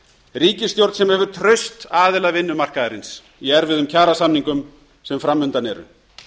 ríkisstjórn sem hefur traust aðila vinnumarkaðarins í erfiðum kjarasamningum sem framundan eru